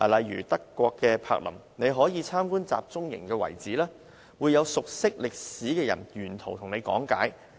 以德國柏林為例，參觀集中營遺址時，會有熟悉歷史的人沿途講解。